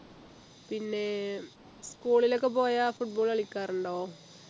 പിന്നെ school ലൊക്കെ പോയാൽ football കളിക്കാറുണ്ടോ